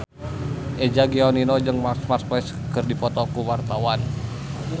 Eza Gionino jeung Marc Marquez keur dipoto ku wartawan